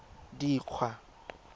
dikgwa